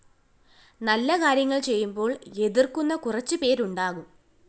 നല്ല കാര്യങ്ങള്‍ ചെയ്യുമ്പോള്‍ എതിര്‍ക്കുന്ന കുറച്ചുപേരുണ്ടാകും